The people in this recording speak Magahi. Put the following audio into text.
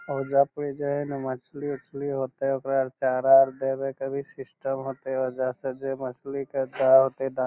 ओयजा पर जे हेय ने मछली-उछली होयते ओकरा आर चारा आर दबे के भी सिस्टम होएते ऑयजा से जे मछली के --